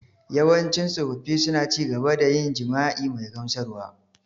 Yawancin tsofaffi suna ci gaba da yin jima’i mai gamsarwa.